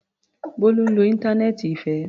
Bólú ń lo íńtánẹ́ẹ́ǹtì Ìfẹ́.